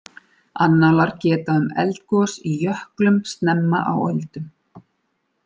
Annálar geta um eldgos í jöklum snemma á öldum.